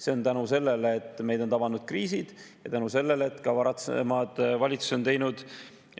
See on tänu sellele, et meid on tabanud kriisid, ja tänu sellele, et ka varasemad valitsused on teinud